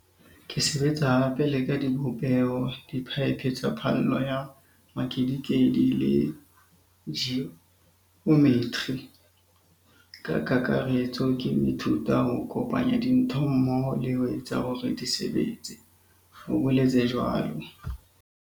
"Ke sebetsa hape le ka dibopeho, diphaephe tsa phallo ya mekedikedi le ji ometri. Ka kakaretso ke ho ithuta ho kopanya dintho mmoho le ho etsa hore di sebetse," o boletse jwalo.